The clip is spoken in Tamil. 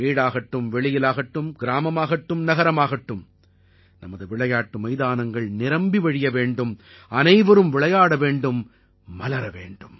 வீடாகட்டும் வெளியிலாகட்டும் கிராமமாகட்டும் நகரமாகட்டும் நமது விளையாட்டு மைதானங்கள் நிரம்பி வழிய வேண்டும் அனைவரும் விளையாட வேண்டும் மலர வேண்டும்